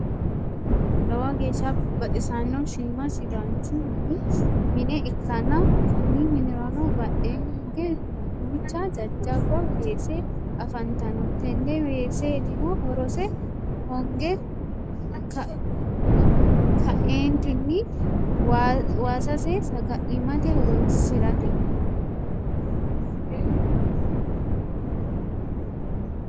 lowo geesha baxisano shiima sidanichu minne ikanna konni minniranno badheenni higge duucha jajaba weese afantanno tenne weesetinno horose hongge ka'eenitinni waasase sagalimate horonsirate.